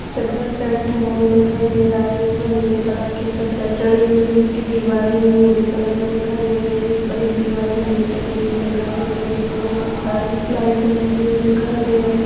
चद्दर set hall दिखाई दे रहा है जिसमें नीले कलर की चद्दर चढ़ी हुई है उसकी दीवारें भी नीले कलर में दिखाई दे रही है जिस पर एक दीवार घड़ी टंगी हुई दिखाई दे रही है जिसमें बहोत सारी लाइटें लगी हुई दिखाई दे रही --